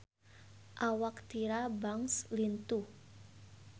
Awak Tyra Banks lintuh